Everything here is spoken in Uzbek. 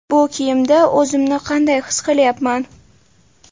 Bu kiyimda o‘zimni qanday his qilyapman?